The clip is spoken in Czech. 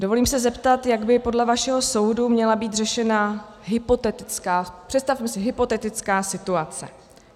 Dovolím se zeptat, jak by podle vašeho soudu měla být řešena hypotetická, představme si, hypotetická situace.